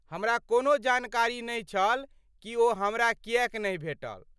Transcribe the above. हमरा कोनो जानकारी नहि छल कि ओ हमरा किएक नहि भेटल।